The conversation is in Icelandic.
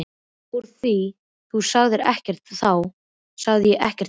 Úr því þú sagðir ekkert þá sagði ég ekkert heldur.